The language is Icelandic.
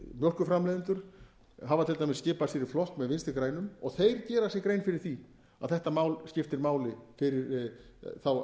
mjólkurframleiðendur hafa til dæmis skipað sér í flokk með vinstri grænum og þeir gera sér grein fyrir því að þetta mál skiptir máli fyrir þá